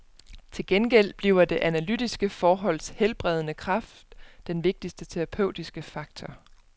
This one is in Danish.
Til gengæld bliver det analytiske forholds helbredende kraft den vigtigste terapeutiske faktor.